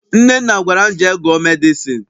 Nnenne gwara m, jee gụọ medịcịn!